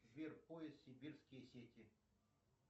сбер поиск сибирские сети